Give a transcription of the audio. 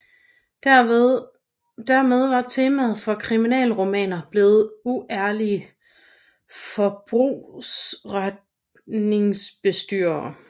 Dermed var temaet for kriminalromaner blevet uærlige brugsforeningsbestyrere